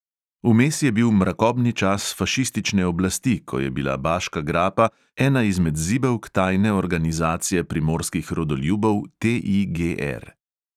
Vmes je bil mrakobni čas fašistične oblasti, ko je bila baška grapa ena izmed zibelk tajne organizacije primorskih rodoljubov TIGR.